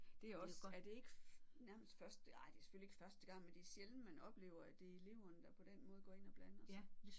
Det er jo også er det ikke nærmest første nej det er selvfølgelig ikke første gang men det er sjældent man oplever at det er eleverne der på den måde går ind og blander sig